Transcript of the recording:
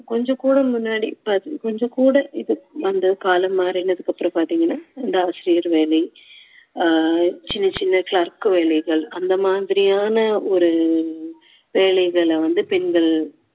கொஞ்சம் கூட முன்னாடி கொஞ்சம் கூட இது வந்து காலம் மாறினதுக்கு அப்புறம் பார்த்தீங்கன்னா இந்த ஆசிரியர் வேலை ஆஹ் சின்ன சின்ன clerk வேலைகள் அந்த மாதிரியான ஒரு வேலைகளை வந்து பெண்கள்